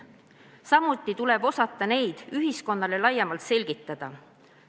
Samuti tuleb osata neid ühiskonnale laiemalt selgitada.